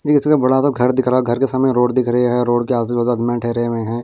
ये किसी का बड़ा सा घर दिख रहा है घर के सामने रोड दिख रही है रोड के आजू बाजू ठहरे हुए हैं।